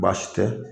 Baasi tɛ